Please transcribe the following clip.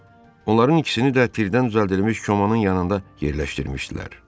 Onların ikisini də tirdən düzəldilmiş komanın yanında yerləşdirmişdilər.